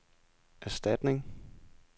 erstatning